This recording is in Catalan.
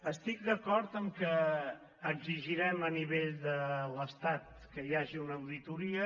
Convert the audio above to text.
estic d’acord que exigirem a nivell de l’estat que hi hagi una auditoria